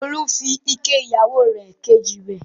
Olú fi ike ìyàwó rẹ̀ kejì wẹ̀.